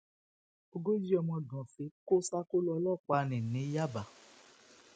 ogójì ọmọ gànfẹ kò ṣàkólò ọlọpàá ní ní yàbá